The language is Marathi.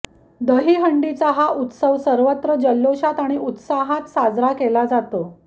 दहीहंडीचा हा उत्सव सर्वत्र जल्लोषात आणि उत्साहाक साजरा केला जातो